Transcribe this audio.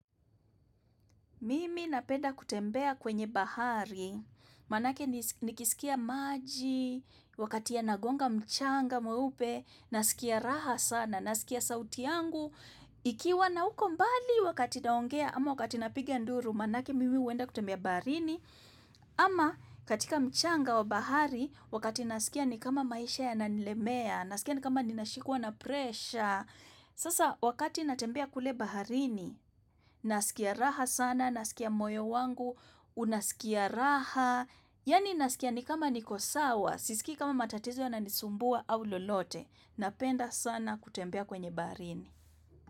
Mimi napenda kutembea kwenye bahari, manake nikisikia maji, wakati ya nagonga mchanga mweupe, nasikia raha sana, nasikia sauti yangu, ikiwa na uko mbali wakati naongea, ama wakati napigia nduru, manake mimi huenda kutembea bahari, ama katika mchanga wa bahari, wakati nasikia ni kama maisha ya nanilemea, nasikia ni kama ninashikuwa na presha. Sasa wakati natembea kule baharini, nasikia raha sana, nasikia moyo wangu, unasikia raha, yani nasikia ni kama niko sawa, sisiki kama matatizo na nisumbua au lolote, napenda sana kutembea kwenye baharini.